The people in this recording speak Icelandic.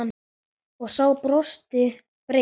Og sá brosti breitt.